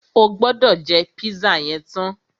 O gbọ́dọ̀ jẹ́ pízà yẹn tán!